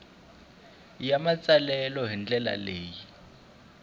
ya matsalelo hi ndlela leyi